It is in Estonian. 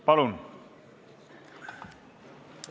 Palun!